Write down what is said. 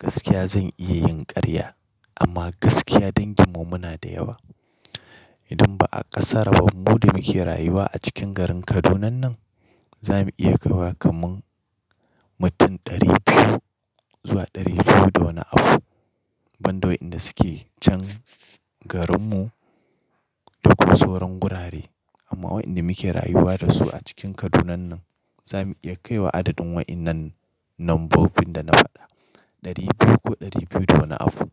Gaskiya zan iya yin ƙarya. Amma gaskiya danginmu muna da yawa. Idan ba a ƙasara ba, mu da muke rayuwa a cikin garin Kaduna nan, za mu iya kai wa kaman mutum ɗari biyu zuwa ɗari biyu da wani afu. Ban da wa ƴanda suke can garinmu da kuma sauran gurare. Amma waɗanda muke rayuwa da su a cikin Kaduna nan, za mu iya kai wa adadin wa ƴannan nombobin da na faɗa, ɗari biyu ko ɗari biyu da wani abu.